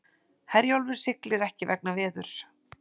Herjólfur siglir ekki vegna veðurs